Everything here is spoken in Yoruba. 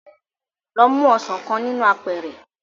Lọ mu ọsàn kan nínú apẹ̀ẹ̀rẹ̀